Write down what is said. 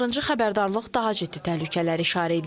Narıncı xəbərdarlıq daha ciddi təhlükələri işarələyir.